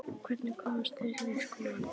Og hvernig komust þeir inn í skólann?